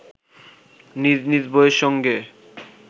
নিজ নিজ বইয়ের সঙ্গে